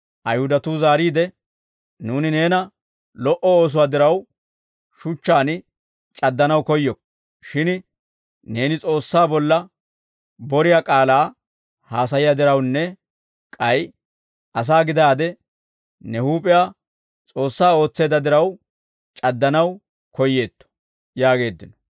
Ayihudatuu zaariide, «Nuuni neena lo"o oosuwaa diraw, shuchchaan c'addanaw koyyokko; shin neeni S'oossaa bolla boriyaa k'aalaa haasayiyaa dirawunne k'ay asaa gidaadde ne huup'iyaa S'oossaa ootseedda diraw, c'addanaw koyyeetto!» yaageeddino.